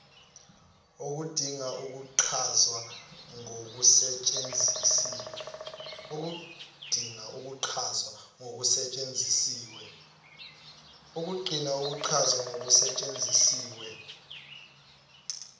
okudinga ukuchazwa okusetshenzisiwe